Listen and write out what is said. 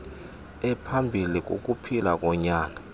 ephambilli kukuphila konyana